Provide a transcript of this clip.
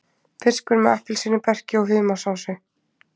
Fiskur með appelsínuberki og humarsósu